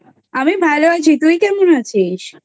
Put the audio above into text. আমি ভালো আছি। তুই কেমন আছিস?